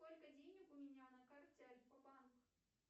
сколько денег у меня на карте альфа банк